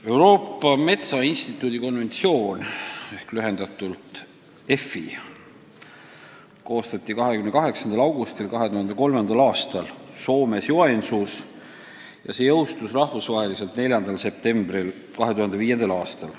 Euroopa Metsainstituudi ehk lühendatult EFI konventsioon koostati 28. augustil 2003. aastal Soomes Joensuus ja see jõustus rahvusvaheliselt 4. septembril 2005. aastal.